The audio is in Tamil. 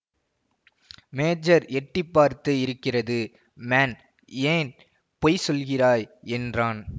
மேஜர் எட்டி பார்த்து இருக்கிறது மேன் ஏன் பொய் சொல்லுகிறாய் என்றான்